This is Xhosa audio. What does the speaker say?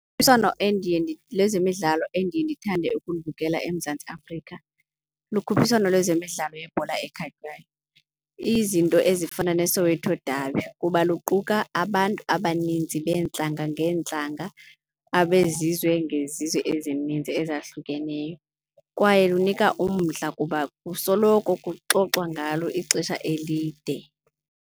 Ukhuphiswano endiye lwezemidlalo endiye ndithande ukulubukela eMzantsi Afrika lokhuphiswano lwezemidlalo yebhola ekhatywayo. Izinto ezifana neSoweto Dabi kuba luquka abantu abaninzi beentlanga ngeentlanga abezizwe ngezizwe ezininzi ezahlukeneyo kwaye lunika umdla kuba kusoloko kuxoxwa ngalo ixesha elide.